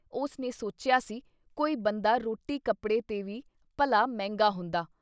ਉਸ ਨੇ ਸੋਚਿਆ ਸੀ ਕੋਈ ਬੰਦਾ ਰੋਟੀ ਕੱਪੜੇ ਤੇ ਵੀ ਭਲਾ ਮਹਿੰਗਾ ਹੁੰਦਾ।